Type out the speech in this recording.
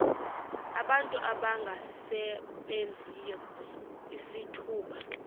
abantu abangasebenziyo izithuba